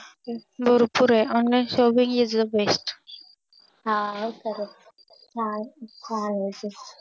भरपूर आहे Online shopping is best हा खरंच